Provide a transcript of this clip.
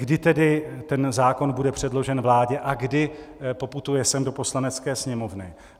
Kdy tedy ten zákon bude předložen vládě a kdy poputuje sem do Poslanecké sněmovny?